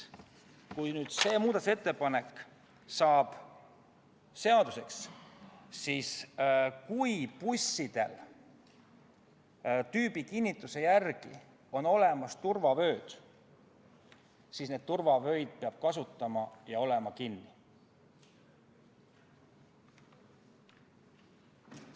“ Kui see muudatusettepanek saab seaduseks ja kui bussidel on tüübikinnituse järgi olemas turvavööd, siis neid turvavöid peab kasutama, need peavad olema kinnitatud.